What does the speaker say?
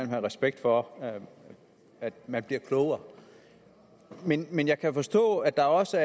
have respekt for at man bliver klogere men men jeg kan forstå at der også